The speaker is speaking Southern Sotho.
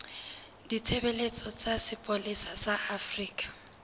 ditshebeletso tsa sepolesa sa afrika